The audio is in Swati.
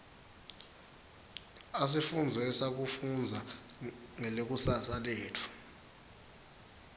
asifundzisa kufundza ngelikusasa letfu